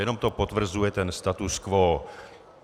Jenom to potvrzuje ten status quo.